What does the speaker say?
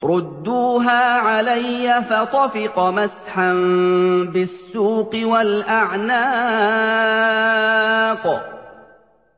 رُدُّوهَا عَلَيَّ ۖ فَطَفِقَ مَسْحًا بِالسُّوقِ وَالْأَعْنَاقِ